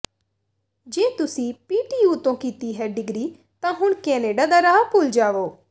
ਜੇ ਤੁਸੀਂ ਪੀਟੀਯੂ ਤੋਂ ਕੀਤੀ ਹੈ ਡਿਗਰੀ ਤਾਂ ਹੁਣ ਕੈਨੇਡਾ ਦਾ ਰਾਹ ਭੁੱਲ ਜਾਵੋ